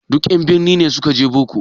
Duka en birni ne suka je boko?